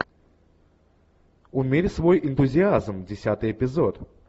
умерь свой энтузиазм десятый эпизод